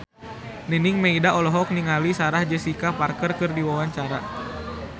Nining Meida olohok ningali Sarah Jessica Parker keur diwawancara